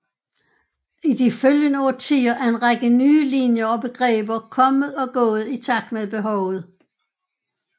I de følgende årtier er en række nye linjer og begreber kommet og gået i takt med behovet